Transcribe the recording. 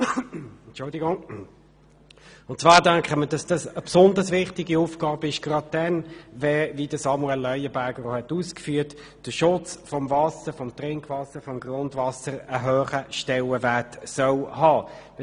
Das ist gerade dann eine besonders wichtige Aufgabe, wenn der Schutz des Wassers, des Trink- und Grundwassers, einen grossen Stellenwert haben soll.